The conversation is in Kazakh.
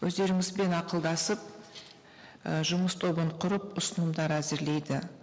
өздеріңізбен ақылдасып і жұмыс тобын құрып ұсынымдар әзірлейді